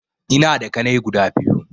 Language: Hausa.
Ina da ƙanai guda biyu